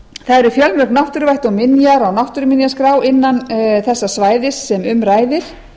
það eru fjölmörg náttúruvætti og minjar á náttúruminjaskrá innan þessa svæðis sem um ræðir